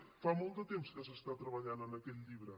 fa molt de temps que s’està treballant en aquest llibre